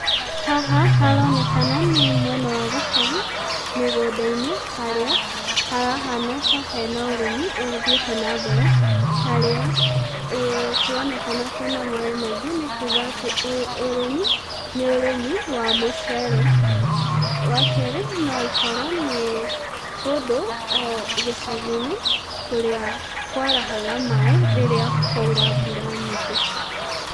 Haha haronekana nĩ mwena wa gĩcagi mĩgũnda-inĩ harĩa harahana ta hena ũrĩmi ũthiĩte na mbere harĩa kũroneka kwĩna maĩ maingĩ nĩkuga atĩ ũyũ ũrĩmi nĩ ũrĩmi wa mũcere . Wakerĩ, no ĩkorwo nĩ kũndũ gĩcagi-inĩ kũrĩa kwarahaga maĩ rĩrĩa kwaura mbũra nyingĩ.